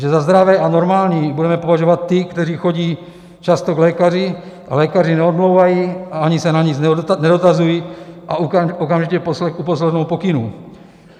Že za zdravé a normální budeme považovat ty, kteří chodí často k lékaři a lékaři neodmlouvají a ani se na nic nedotazují a okamžitě uposlechnou pokynů.